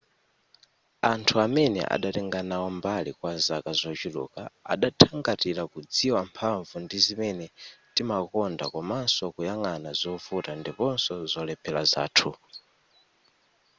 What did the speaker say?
anthu amene adatenga nawo mbali kwa zaka zochuluk adathangatira kudziwa mphamvu ndi zimene timakonda komanso kuyang'ana zovuta ndiponso zolephera zathu